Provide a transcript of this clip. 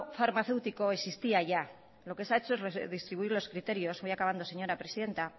farmacéutico existía ya lo que seha hecho es redistribuir los criterios voy acabando señora presidenta